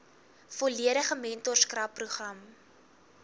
volledige mentorskap program